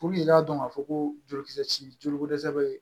i k'a dɔn k'a fɔ ko jolikisɛ joli ko dɛsɛ bɛ